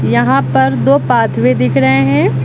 यहां पर दो पाथ भी दिख रहे हैं।